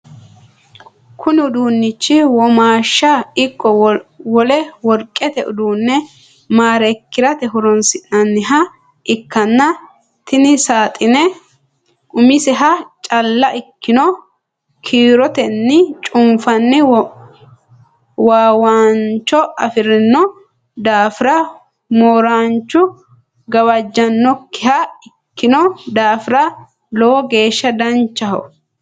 Kunni uduunchi womaasha iko wole worqete uduune mareekirate horoonsi'nanniha ikanna tinni saaxine umiseha calla ikinoha kiirotenni cunfanni waawancho afirino daafira mooranchu gawajanokiha ikino daafira lowo geesha danchaho.